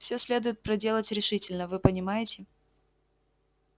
всё следует проделать решительно вы понимаете